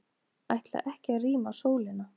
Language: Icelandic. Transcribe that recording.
Ætla ekki að rýma Sólina